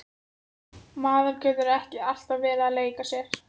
Maður getur ekki alltaf verið að leika sér.